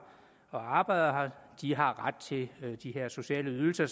og arbejder har ret til de her sociale ydelser